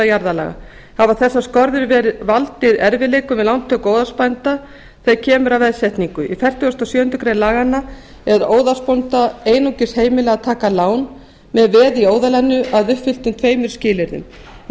jarðalaga hafa þessar skorður valdið erfiðleikum við lántöku óðalsbænda þegar kemur að veðsetningu fertugasta og sjöundu grein laganna er óðalsbónda einungis heimilað að taka lán með veði í óðalinu að uppfylltum tveimur skilyrðum í